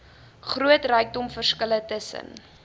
groot rykdomverskille tussen